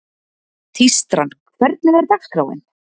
Tístran, hvernig er dagskráin?